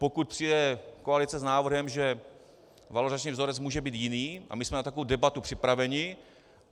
Pokud přijde koalice s návrhem, že valorizační vzorec může být jiný, a my jsme na takovou debatu připraveni.